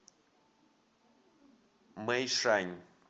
мэйшань